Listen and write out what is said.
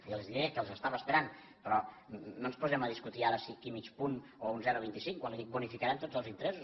i els diré que les estava esperant però no ens posem a discutir ara si aquí mig punt o un zero coma vint cinc quan li dic que bonificarem tots els interessos